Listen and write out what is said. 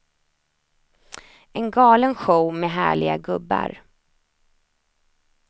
En galen show med härliga gubbar.